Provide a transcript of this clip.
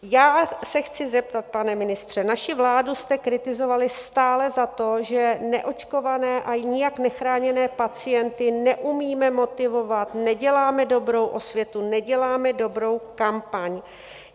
Já se chci zeptat, pane ministře: naši vládu jste kritizovali stále za to, že neočkované a nijak nechráněné pacienty neumíme motivovat, neděláme dobrou osvětu, neděláme dobrou kampaň.